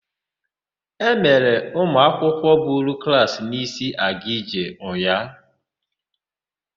E mere ụmụakwụkwọ buru klaasị n'isi akaje ụnyaahụ.